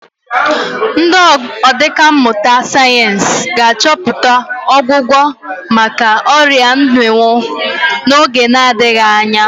Ndị ọkà mmụta sayensị ga-achọta ọgwụgwọ maka ọrịa mmịnwụ n'oge na-adịghị anya.